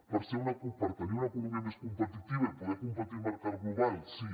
per tenir una economia més competitiva i poder competir al mercat global sí